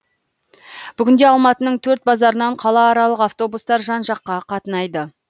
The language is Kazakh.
бүгінде алматының төрт базарынан қалааралық автобустар жан жаққа қатынайды